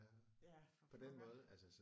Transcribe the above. Ja for pokker